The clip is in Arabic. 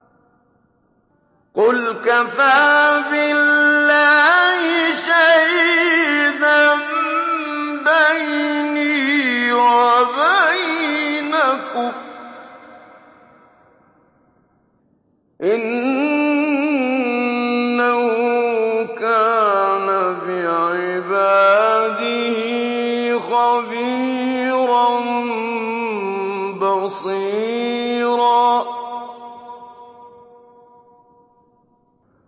قُلْ كَفَىٰ بِاللَّهِ شَهِيدًا بَيْنِي وَبَيْنَكُمْ ۚ إِنَّهُ كَانَ بِعِبَادِهِ خَبِيرًا بَصِيرًا